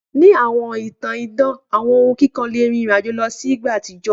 Ni awọn itan idan awọn ohun kikọ le rin irin-ajo lọ si igba atijọ.